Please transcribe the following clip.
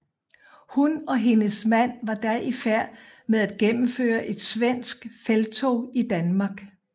Hun og hendes mand var da i færd med at gennemføre et svensk felttog i Danmark